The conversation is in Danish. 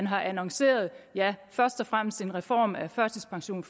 har annonceret først og fremmest en reform af førtidspensionen